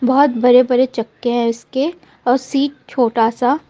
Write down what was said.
बहुत बड़े-बड़े चक्के हैं इसके और सीट छोटा सा.